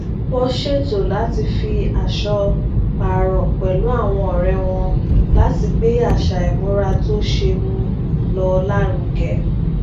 wọn ṣètò láti fi aṣọ pààrọ pẹlú àwọn ọrẹ wọn láti gbé àṣà ìmúra tó ṣeé mú lò lárugẹ